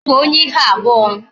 I bụ onye ihu abụọ